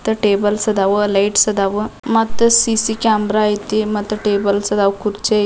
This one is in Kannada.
ಟೇಬಲ್ಸ್ ಆದವು ಲೈಟ್ಸ್ ಆದವು ಮತ್ತ ಸಿ.ಸಿ ಕ್ಯಾಮೆರಾ ಐತಿ ಮತ್ತ ಟೇಬಲ್ಸ್ ಆದವು ಕುರ್ಚಿ --